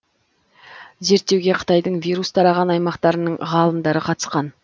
зерттеуге қытайдың вирус тараған аймақтарының ғалымдары қатысқан